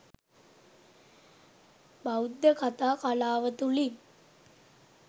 බෞද්ධ කතා කලාව තුළින්